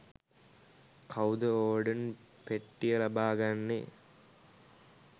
කවුද ඕර්ඩන් පෙට්ටිය ලබාගන්නෙ